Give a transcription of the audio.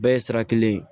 Bɛɛ ye sira kelen ye